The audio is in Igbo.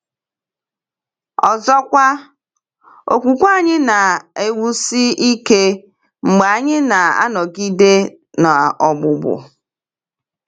Ọzọkwa, okwukwe anyị na-enwusi ike mgbe anyị na-anọgide n’ogbugbu.